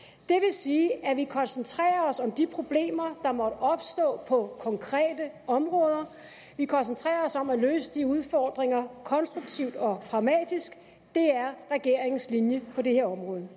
sige at vi koncentrerer os om de problemer der måtte opstå på konkrete områder vi koncentrerer os om at løse de udfordringer konstruktivt og pragmatisk det er regeringens linje på det her område